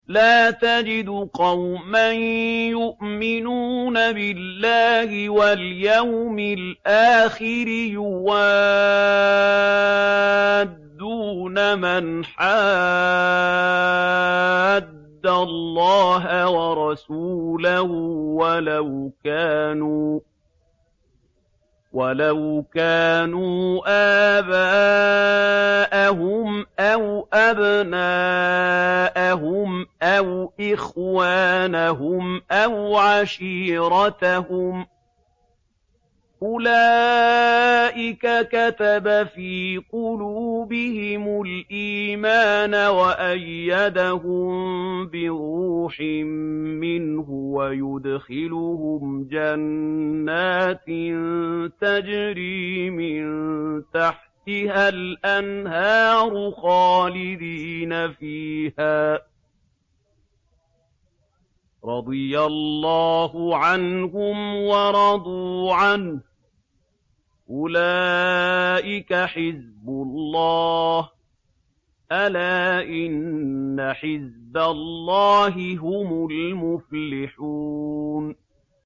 لَّا تَجِدُ قَوْمًا يُؤْمِنُونَ بِاللَّهِ وَالْيَوْمِ الْآخِرِ يُوَادُّونَ مَنْ حَادَّ اللَّهَ وَرَسُولَهُ وَلَوْ كَانُوا آبَاءَهُمْ أَوْ أَبْنَاءَهُمْ أَوْ إِخْوَانَهُمْ أَوْ عَشِيرَتَهُمْ ۚ أُولَٰئِكَ كَتَبَ فِي قُلُوبِهِمُ الْإِيمَانَ وَأَيَّدَهُم بِرُوحٍ مِّنْهُ ۖ وَيُدْخِلُهُمْ جَنَّاتٍ تَجْرِي مِن تَحْتِهَا الْأَنْهَارُ خَالِدِينَ فِيهَا ۚ رَضِيَ اللَّهُ عَنْهُمْ وَرَضُوا عَنْهُ ۚ أُولَٰئِكَ حِزْبُ اللَّهِ ۚ أَلَا إِنَّ حِزْبَ اللَّهِ هُمُ الْمُفْلِحُونَ